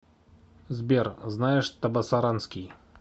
сбер знаешь табасаранский